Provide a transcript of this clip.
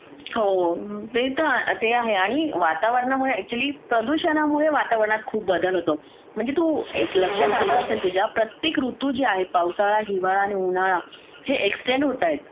हो ते तर आहे आणि वातावरणामुळे ऍक्च्युली प्रदूषणामुळे वातावरणात खूप बदल होतो म्हणजे तू लक्षात आला असेल तुझ्या प्रत्येक ऋतुजा आहेत पावसाळा उन्हाळा आणि हिवाळा हे एक्सटेंड होतायेत